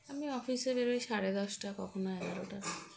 আমি office -এ বেরোই সাড়ে দশটা কখনো এগারটা